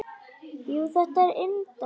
Jú, þetta er indælt